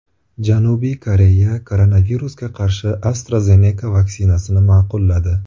Janubiy Koreya koronavirusga qarshi AstraZeneca vaksinasini ma’qulladi.